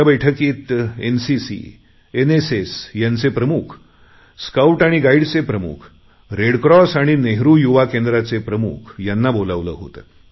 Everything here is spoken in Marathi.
त्या बैठकीत एनसीसी एनएसएस यांचे प्रमुख स्काऊट आणि गाईडचे प्रमुख रेड क्रॉस आणि नेहरु युवा केंद्राचे प्रमुख यांना बोलावले होते